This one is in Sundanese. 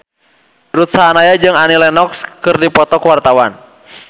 Ruth Sahanaya jeung Annie Lenox keur dipoto ku wartawan